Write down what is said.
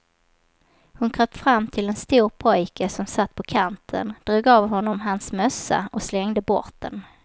Hon kröp fram till en stor pojke som satt på kanten, drog av honom hans mössa och slängde bort den.